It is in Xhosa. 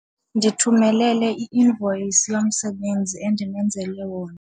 Ndithumelele i-invoyisi yomsebenzi endimenzele wona.